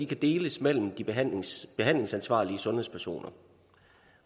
kan deles mellem de behandlingsansvarlige sundhedspersoner